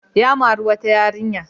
Ya mari wata yarinya.